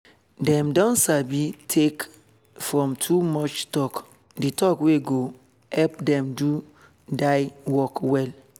dem don sabi take from too much talk d talk wey go help dem do dier work well